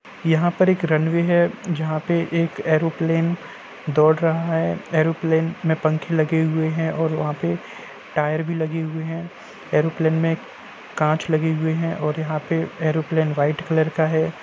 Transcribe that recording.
यहां पर एक रनवे है जहाँ पे एक एरोप्लेन दौड़ रहा है | एरोप्लेन में पंखे लगे हुए हैं और वहाँ पे टायर भी लगे हुए हैं | एरोप्लेन में कांच लगे हुए हैं और यहाँ पे एरोप्लेन वाइट कलर का है।